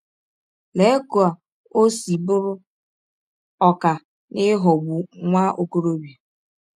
Lee ka ọ si bụrụ ọkà n’ịghọgbụ nwa ọkọrọbịa!